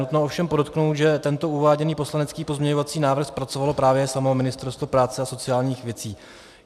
Nutno ovšem podotknout, že tento uváděný poslanecký pozměňovací návrh zpracovalo právě samo Ministerstvo práce a sociálních věcí.